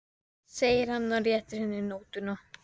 segir hann og réttir henni nótuna.